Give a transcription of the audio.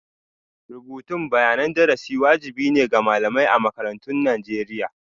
Rubutun bayanan darasi wajibi ne ga malamai a makarantun Najeriya.